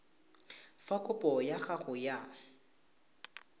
fa kopo ya gago ya